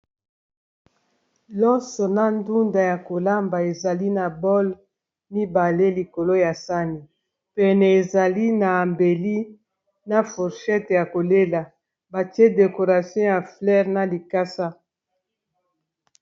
Loso na ndunda ya kolamba ezali na bole mibale. Likolo ya sani, pene ezali na mbeli na forchete ya kolela. Batie decoration ya flere na likasa.